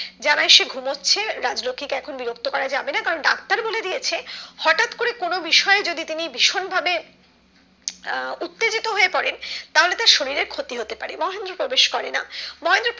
জানায় সে ঘুমোচ্ছে রাজলক্ষী কে এখন বিরক্ত করা যাবে না কারণ ডাক্তার বলে দিয়েছে হটাৎ করে কোনো বিষয় যদি তুমি ভীষণ ভাবে আহ উত্তেজিত হয়ে পড়েন তাহলে শরীরের ক্ষতি হতে পারে মহেন্দ্র প্রবেশ করে না মহেন্দ্র